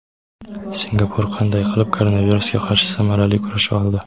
Singapur qanday qilib koronavirusga qarshi samarali kurasha oldi?.